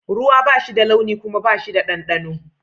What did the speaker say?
Ruwa ba shi da launi kuma Bai da dandano.